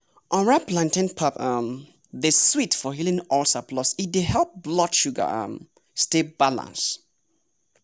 unripe plantain pap um dey sweet for healing ulcer plus e dey help blood sugar um stay balanced.